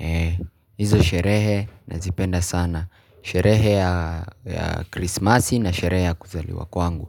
Ee, hizo sherehe nazipenda sana. Sherehe ya krismasi na sherehe ya kuzaliwa kwangu.